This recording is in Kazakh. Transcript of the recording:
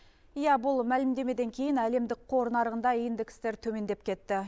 иә бұл мәлімдемеден кейін әлемдік қор нарығында индекстер төмендеп кетті